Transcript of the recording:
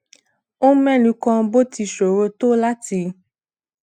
ó ménu kan bó ti ṣòro tó láti